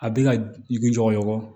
A bɛ ka i ɲɔgɔn